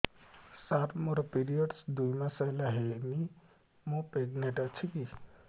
ସାର ମୋର ପିରୀଅଡ଼ସ ଦୁଇ ମାସ ହେଲା ହେଇନି ମୁ ପ୍ରେଗନାଂଟ ଅଛି କି